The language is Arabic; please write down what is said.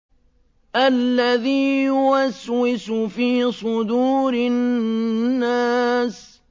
الَّذِي يُوَسْوِسُ فِي صُدُورِ النَّاسِ